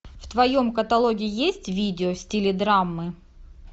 в твоем каталоге есть видео в стиле драмы